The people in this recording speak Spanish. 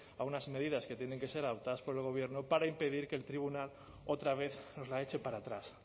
a unas medidas que tienen que ser adoptadas por el gobierno para impedir que el tribunal otra vez nos la eche para atrás